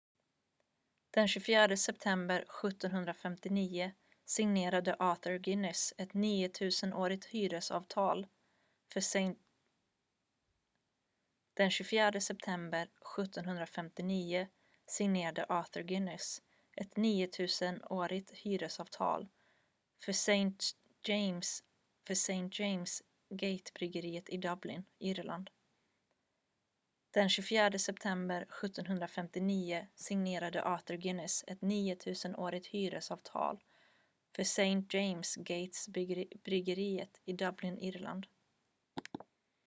den 24 september 1759 signerade arthur guinness ett 9 000-årigt hyresavtal för st james' gate-bryggeriet i dublin irland